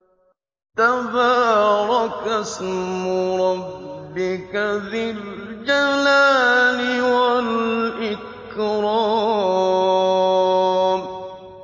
تَبَارَكَ اسْمُ رَبِّكَ ذِي الْجَلَالِ وَالْإِكْرَامِ